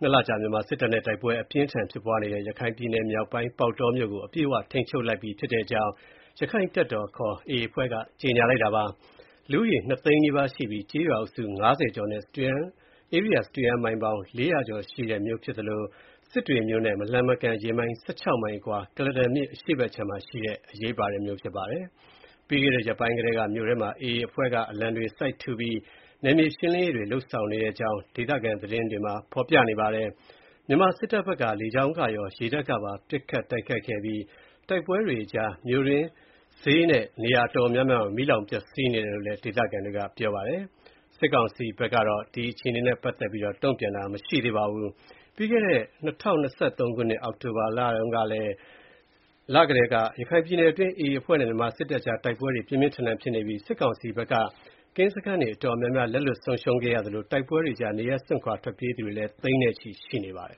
နှစ်လကြာ မြန်မာစစ်တပ်နဲ့ တိုက်ပွဲ အပြင်းအထန် ဖြစ်ပွားနေတဲ့ ရခိုင်ပြည်နယ်မြောက်ပိုင်း၊ ပေါက်တောမြို့ကို အပြည့်အဝထိန်းချုပ်လိုက်ပြီ ဖြစ်တဲ့အကြောင်း ရခိုင့်တပ်တော်ခေါ် AA အဖွဲ့က ကြေညာပါတယ်။ လူဦးရေ နှစ်သိန်း နီးပါးရှိပြီး ကျေးရွာအုပ်စု ၅၀ ကျော်နဲ့ ဧရိယာစတုရန်းမိုင် လေးရာကျော်ရှိတဲ့ မြို့ဖြစ်သလို စစ်တွေမြို့နဲ့ မလှမ်းမကမ်း ရေမိုင် ၁၆ မိုင်အကွာ ကုလားတန်မြစ် အရှေ့ဘက်ကမ်းမှာရှိတဲ့ မြို့ဖြစ်ပါတယ်။ ပြီးခဲ့တဲ့ ရက်ပိုင်းကတည်းက မြို့ထဲမှာ AA အဖွဲ့က အလံတွေ စိုက်ထူပြီး နယ်မြေရှင်းလင်းရေးတွေ လုပ်ဆောင်နေတဲ့အကြောင်း ဒေသခံ သတင်းတွေမှာ ဖေါ်ပြပါတယ်။ မြန်မာစစ်တပ်ဘက်က လေကြောင်းကရော ရေတပ်ကပါ ပစ်ခတ်တိုက်ခိုက်ခဲ့ပြီး တိုက်ပွဲတွေကြား မြို့တွင်း၊ ဈေးနဲ့ နေရာတော်တော်များများ မီးလောင်ပျက်ဆီးနေတယ်လို့လည်း ဒေသခံတွေက ပြောပါတယ်။ စစ်ကောင်စီဘက်ကတော့ ပေါက်တောမြို့အခြေအနေ သတင်းထုတ်ပြန်တာ တုံ့ပြန်တာ မရှိသေးပါဘူး။ ပြီးခဲ့တဲ့ ၂၀၂၃ ခုနှစ် အောက်တိုဘာလကတည်းက ရခိုင်ပြည်နယ်အတွင်း AA အဖွဲ့နဲ့ မြန်မာစစ်တပ်အကြား တိုက်ပွဲတွေ ပြင်းပြင်းထန်ထန် ဖြစ်ပွားနေပြီး စစ်ကောင်စီဘက်က ကင်းစခန်းတွေ တော်တော်များများ လက်လွှတ်ဆုံးရှုံးခဲ့သလို တိုက်ပွဲတွေကြား နေရပ်စွန့်ခွာထွက်ပြေးသူတွေလည်း သိန်းနဲ့ချီရှိနေပါတယ်